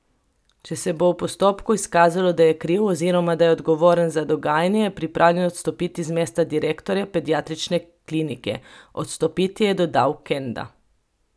Če se bo v postopku izkazalo, da je kriv oziroma da je odgovoren za dogajanje, je pripravljen odstopiti z mesta direktorja pediatrične klinike odstopiti, je dodal Kenda.